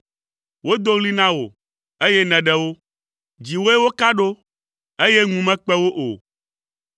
Wodo ɣli na wò, eye nèɖe wo, dziwòe woka ɖo, eye ŋu mekpe wo o.